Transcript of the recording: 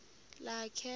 lakhe